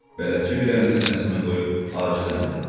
Bələdçi bir əlini sinəsinə qoyub acizəm dedi.